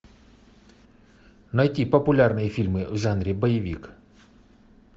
найти популярные фильмы в жанре боевик